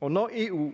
og når eu